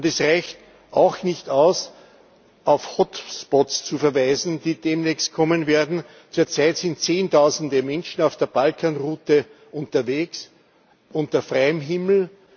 Und es reicht auch nicht aus, auf hotspots zu verweisen, die demnächst kommen werden. Zurzeit sind zehntausende Menschen auf der Balkanroute unterwegs unter freiem